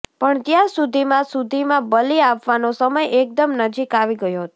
પણ ત્યાં સુધીમાં સુધીમાં બલિ આપવાનો સમય એકદમ નજીક આવી ગયો હતો